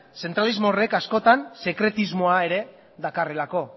zentralismo horrek askotan sekretismoa ere dakarrelako